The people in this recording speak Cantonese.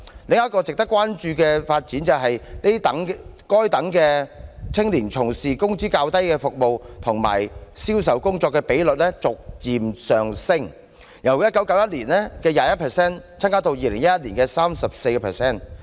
另一值得關注的發展，是該等青年從事工資較低的服務及銷售工作的比例逐步上升，由1991年的 21% 增加至2011年的 34%。